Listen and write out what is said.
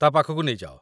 ତା' ପାଖକୁ ନେଇଯାଅ